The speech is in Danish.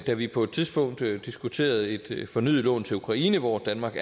da vi på et tidspunkt diskuterede et fornyet lån til ukraine hvor danmark